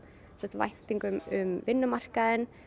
væntingum um vinnumarkaðinn